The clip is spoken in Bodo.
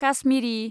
काश्मिरि